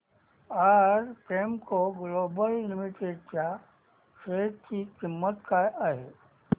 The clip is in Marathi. आज प्रेमको ग्लोबल लिमिटेड च्या शेअर ची किंमत काय आहे